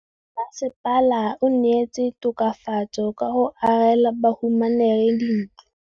Mmasepala o neetse tokafatsô ka go agela bahumanegi dintlo.